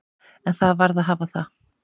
En það varð að hafa það.